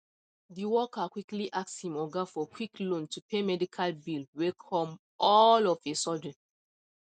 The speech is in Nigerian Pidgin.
the worker quickly ask him oga for quick loan to pay medical bill wey come all of a sudden